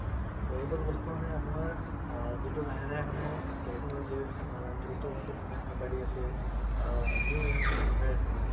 এইবোৰ বস্তু মানে আপুনাৰ আ যিটো লাহে লাহে মানে technology ত দ্ৰুত গতিত মানে আগ বাৰি আছে আ new emigration হই আছে মানে